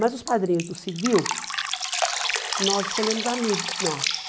Mas os padrinhos do civil, nós escolhemos amigos nossos.